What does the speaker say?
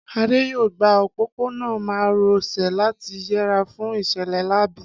Adé yóò gba òpópónà má ro sè láti yẹra fún ìṣẹ̀lẹ̀ láabi